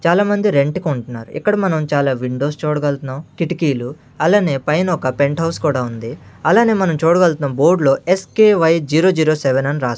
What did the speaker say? చాలామంది రెంట్ కుంటున్నారు ఇక్కడ మనం చాలా విండోస్ చూడగల్తున్నాం కిటికీలు అలానే పైన ఒక పెంట్ హౌస్ కూడా ఉంది అలానే మనం చూడగలుగుతున్నాం బోర్డులో S K Y zero zero seven అని రాస్--